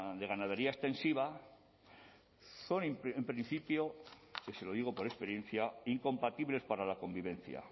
de ganadería extensiva son en principio y se lo digo por experiencia incompatibles para la convivencia